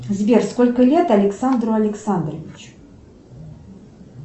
сбер сколько лет александру александровичу